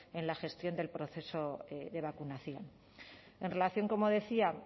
en la gestión del proceso de vacunación en relación como decía